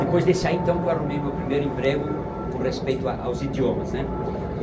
Depois desse aí, então, que eu arrumei meu primeiro emprego com respeito a aos idiomas, né?